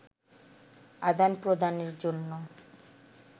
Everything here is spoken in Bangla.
আদান-প্রদানের জন্য